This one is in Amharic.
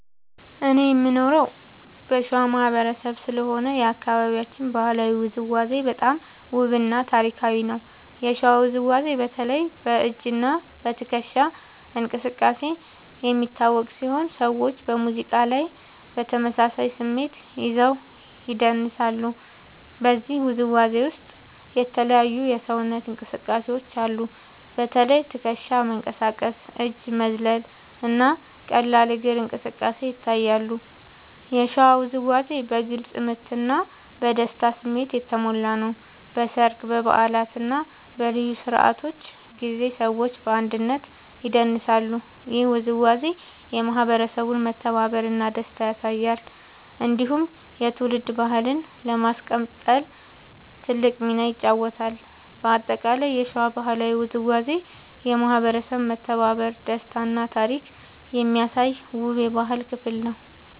እኔ የምኖረው ከሸዋ ማህበረሰብ ስለሆነ የአካባቢያችን ባህላዊ ውዝዋዜ በጣም ውብ እና ታሪካዊ ነው። የሸዋ ውዝዋዜ በተለይ በ“እጅ እና ትከሻ እንቅስቃሴ” የሚታወቅ ሲሆን ሰዎች በሙዚቃ ላይ በተመሳሳይ ስሜት ይዘው ይደንሳሉ። በዚህ ውዝዋዜ ውስጥ የተለያዩ የሰውነት እንቅስቃሴዎች አሉ። በተለይ ትከሻ መንቀሳቀስ፣ እጅ መዝለል እና ቀላል እግር እንቅስቃሴ ይታያሉ። የሸዋ ውዝዋዜ በግልጽ ምት እና በደስታ ስሜት የተሞላ ነው። በሰርግ፣ በበዓላት እና በልዩ ስነ-ስርዓቶች ጊዜ ሰዎች በአንድነት ይደንሳሉ። ይህ ውዝዋዜ የማህበረሰቡን መተባበር እና ደስታ ያሳያል። እንዲሁም የትውልድ ባህልን ለማስቀጠል ትልቅ ሚና ይጫወታል። በአጠቃላይ የሸዋ ባህላዊ ውዝዋዜ የማህበረሰብ መተባበር፣ ደስታ እና ታሪክ የሚያሳይ ውብ የባህል ክፍል ነው።